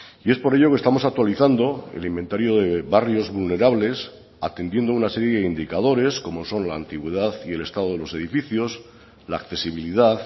y es por ello que estamos actualizando el inventario de barrios vulnerables atendiendo una serie de indicadores como son la antigüedad y el estado de los edificios la accesibilidad